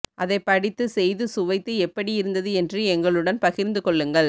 அதைப் படித்து செய்து சுவைத்து எப்படி இருந்தது என்று எங்களுடன் பகிர்ந்து கொள்ளுங்கள்